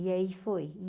E aí foi.